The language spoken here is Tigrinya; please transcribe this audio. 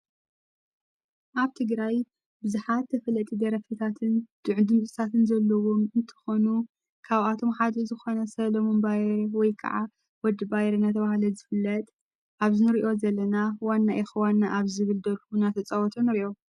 ኣብቲ ግራይ ብዝኃት ተፈለጢ ደረፍታትን ድዕድምጽሳትን ዘለዉም እንተኾኑ ካብኣቶም ሓድሪ ዝኾነ ሰሎም እምባይ ወይ ከዓ ወድ ባይር ነተዉሃለ ዝፍለጥ ኣብ ዝኑርእዮ ዘለና ዋና ኤኽዋና ኣብ ዝብል ደርና ተጸወተ ንርእዮ።